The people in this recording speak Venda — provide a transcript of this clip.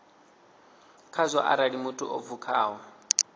khazwo arali muthu o pfukaho